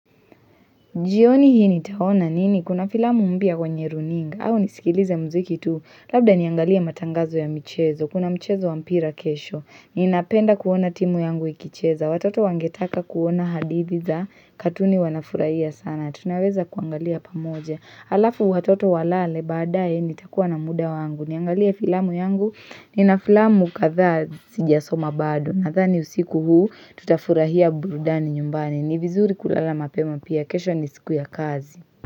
Jioni hii nitaona nini, kuna filamu mpya kwenye runinga, au nisikilize mziki tu, labda niangalia matangazo ya mchezo, kuna mchezo wa mpira kesho, ninapenda kuona timu yangu ikicheza, watoto wangetaka kuona hadithi za katuni wanafurahia sana, tunaweza kuangalia pamoja, alafu watoto walale baadae nitakuwa na muda wangu, niangalie filamu yangu, nina filamu kadhaa sijasoma bado, na dhani usiku huu tutafurahia burudani nyumbani, ni vizuri kulala mapema pia, kesho ni siku ya kazi.